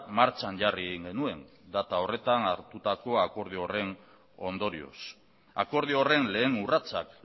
martxan jarri egin genuen data horretan hartutako akordio horren ondorioz akordio horren lehen urratsak